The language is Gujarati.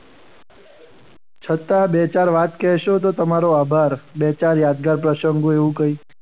છતાં બે ચાર વાત કહેશો તો તમારો આભાર. બે ચાર યાદગાર પ્રસંગ એવું કંઈ.